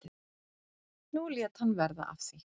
Nú lét hann verða af því.